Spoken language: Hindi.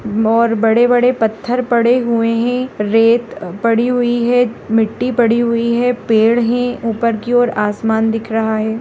और बड़े - बड़े पत्थर पड़े हुए है रेत पड़ी हुई है मिट्टी पड़ी हुई है पेड़ है ऊपर की औरआसमान दिख रहा है।